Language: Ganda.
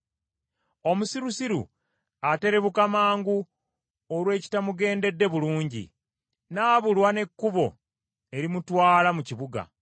Omusirusiru aterebuka mangu olw’ekitamugendedde bulungi, n’abulwa n’ekkubo erimutwala mu kibuga.